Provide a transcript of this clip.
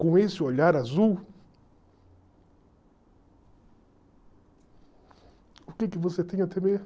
com esse olhar azul, o que que você tem a temer?